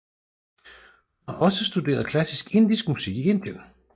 Hun har også studeret klassisk indisk musik i Indien